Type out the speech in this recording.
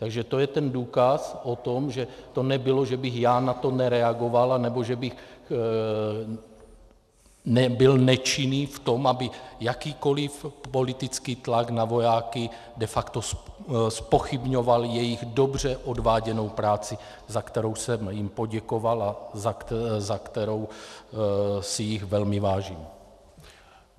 Takže to je ten důkaz o tom, že to nebylo, že bych já na to nereagoval nebo že bych byl nečinný v tom, aby jakýkoliv politický tlak na vojáky de facto zpochybňoval jejich dobře odváděnou práci, za kterou jsem jim poděkoval a za kterou si jich velmi vážím.